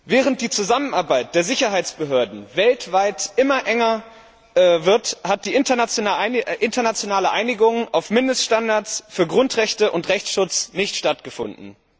Während die Zusammenarbeit der Sicherheitsbehörden weltweit immer enger wird, hat die internationale Einigung auf Mindeststandards für Grundrechte und Rechtsschutz nicht stattgefunden.